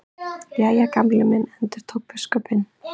Jæja, Gamli minn endurtók biskupinn.